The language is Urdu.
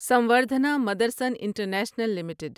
Samvardhana Motherson international limited